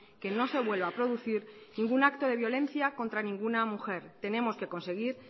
que no se vuelva a producir ningún acto de violencia contra ninguna mujer tenemos que conseguir